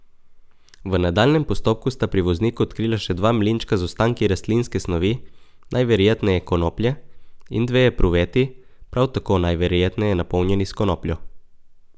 V nadaljnjem postopku sta pri vozniku odkrila še dva mlinčka z ostanki rastlinske snovi, najverjetneje konoplje, in dve epruveti, prav tako najverjetneje napolnjeni s konopljo.